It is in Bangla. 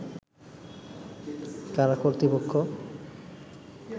কারা কর্তৃপক্ষ